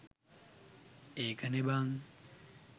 එකනේ බන්